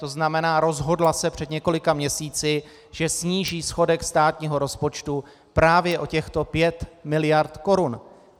To znamená, rozhodla se před několika měsíci, že sníží schodek státního rozpočtu právě o těchto pět miliard korun.